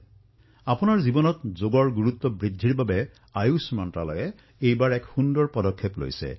অৱশ্যে আপোনালোকৰ জীৱনত যোগৰ গুৰুত্ব বৃদ্ধি কৰিবলৈ আয়ুষ মন্ত্ৰালয়েও এই বাৰ এক অনন্য পদক্ষেপ গ্ৰহণ কৰিছে